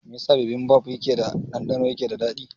Me yasa bibimbap keda ɗandɗano yake da dadi?